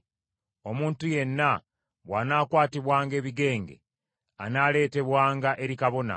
“Omuntu yenna bw’anaakwatibwanga ebigenge, anaaleetebwanga eri kabona.